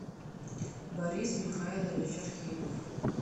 борис михайлович архипов